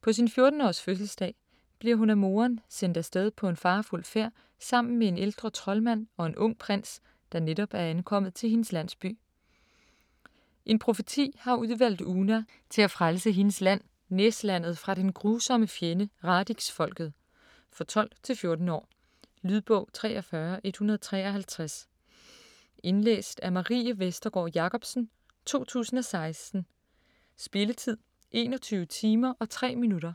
På sin 14-års fødselsdag bliver hun af moderen sendt afsted på en farefuld færd sammen med en ældre troldmand og en ung prins, der netop er ankommet til hendes landsby. En profeti har udvalgt Oona til at frelse hendes land, Næslandet fra den grusomme fjende, Radixfolket. For 12-14 år. Lydbog 43153 Indlæst af Marie Vestergård Jacobsen, 2016. Spilletid: 21 timer, 3 minutter.